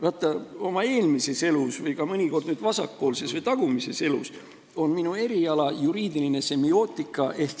Vaata, minu eelmises elus või ka mõnikord nüüd vasakpoolses või tagumises elus on minu eriala juriidiline semiootika.